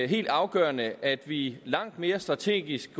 helt afgørende at vi langt mere strategisk